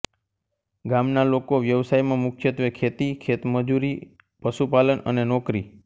ગામના લોકો વ્યવસાયમાં મુખ્યત્વે ખેતી ખેતમજૂરી પશુપાલન અને નોકરી